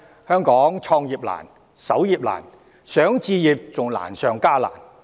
香港創業難、守業難，置業更是難上加難。